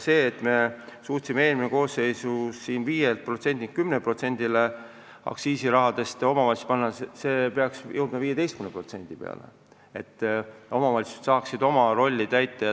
Eelmises koosseisus me suutsime 5% asemel 10% aktsiisisummadest omavalitsustele suunata, aga see peaks jõudma 15% peale, et omavalitsused saaksid oma rolli täita.